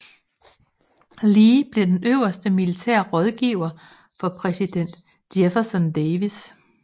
Lee blev den øverste militære rådgiver for præsident Jefferson Davis